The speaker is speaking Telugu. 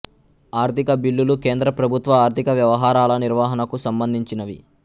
ఆర్థిక బిల్లులు కేంద్ర ప్రభుత్వ ఆర్థిక వ్యవహారాల నిర్వహణకు సంబంధించినవి